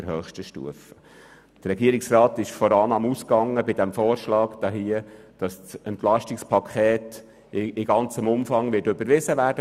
Der Regierungsrat ging bei diesem Vorschlag von der Annahme aus, dass das EP im ganzen Umfang vom Grossen Rat überwiesen wird.